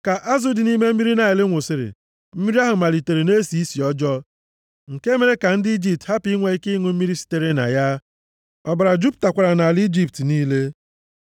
Ka azụ dị nʼime mmiri Naịl nwụsịrị, mmiri ahụ malitere na-esi isi ọjọọ, nke mere ka ndị Ijipt hapụ inwe ike ịṅụ mmiri sitere na ya. Ọbara jupụtakwara nʼala Ijipt niile.